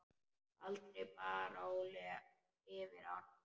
Aldrei bar Óli yfir ána.